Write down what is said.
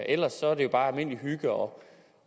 ellers er det jo bare almindelig hygge og